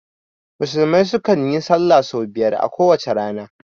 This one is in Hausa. Musulmai su kan yin sallah sau biyar a kowace rana